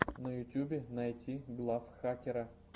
на ютюбе найти глав хакера